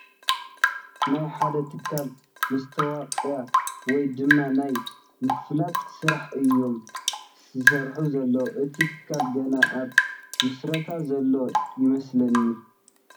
ናይ ሓደ ትካል መስታወቕያ ወይ ድማ ናይ ምፍላጥ ስራሕ እዩም ዝሰርሑ ዘለዉ ፡ እቲ ትካል ገና ኣብ ምስረታ ዘሎ ይመስለኒ ።